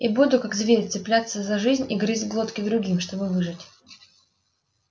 и буду как зверь цепляться за жизнь и грызть глотки другим чтобы выжить